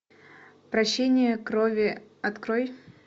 прощение крови открой